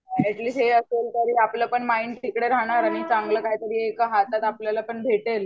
At least हे असेल तर आपलं पण माईंड तिकडे राहणार आणि चांगला काहीतरी एका हातात भेटेल.